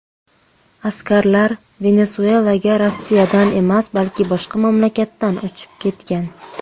Askarlar Venesuelaga Rossiyadan emas, balki boshqa mamlakatdan uchib ketgan.